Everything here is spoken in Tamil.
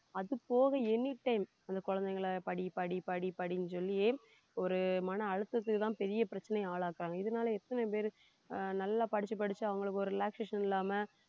அது போக anytime அந்த குழந்தைங்களை படி படி படி படின்னு சொல்லியே ஒரு மன அழுத்தத்துக்குதான் பெரிய பிரச்சனைய ஆளாக்குறாங்க இதனால எத்தன பேரு ஆஹ் நல்லா படிச்சு படிச்சு அவங்களுக்கு ஒரு relaxation இல்லாம